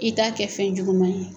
I t'a kɛ fɛn juguman ye